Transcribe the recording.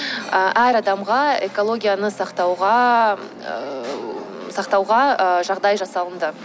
ы әр адамға экологияны сақтауға ыыы сақтауға ы жағдай жасалынды